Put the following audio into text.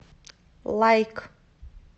лайк